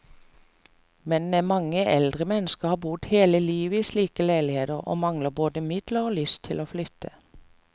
Men mange eldre mennesker har bodd hele livet i slike leiligheter, og mangler både midler og lyst til å flytte.